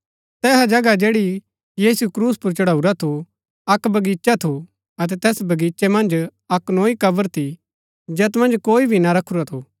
तैहा जगह जैड़ी यीशु क्रूस पुर चढाऊरा थू अक्क बगीचा थू अतै तैस बगीचे मन्ज अक्क नोई कब्र थी जैत मन्ज कोई भी ना रखूरा थू